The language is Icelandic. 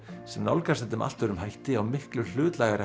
sem nálgaðist þetta með allt öðrum hætti á miklu hlutlægari